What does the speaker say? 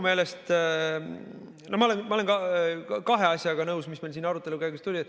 Ma olen nõus kahe asjaga, mis siin arutelu käigus välja tulid.